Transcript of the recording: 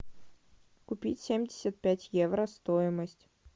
купить семьдесят пять евро стоимость